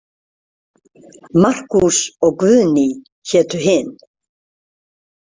Markús og Guðný hétu hin.